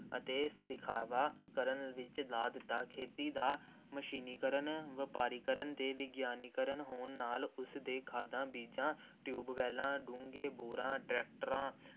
ਅਤੇ ਦਿਖਾਵਾ ਕਰਨ ਵਿੱਚ ਲਾ ਦਿੱਤਾ, ਖੇਤੀ ਦਾ ਮਸ਼ੀਨੀਕਰਨ, ਵਪਾਰੀਕਰਨ ਅਤੇ ਵਿਗਿਆਨੀਕਰਨ ਹੋਣ ਨਾਲ ਉਸ ਦੇ ਖਾਦਾਂ, ਬੀਜਾਂ, ਟਿਊਬਵੈੱਲਾਂ, ਡੂੰਘੇ ਬੋਰਾਂ, ਟ੍ਰੈਕਟਰਾਂ,